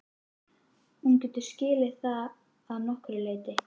Hún getur skilið það að nokkru leyti.